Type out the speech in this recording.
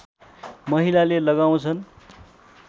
महिलाले लगाउँछन्